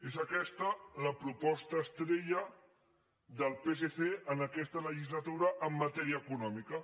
és aquesta la proposta estrella del psc en aquesta legislatura en matèria econòmica